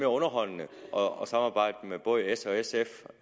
underholdende at samarbejde med både s og sf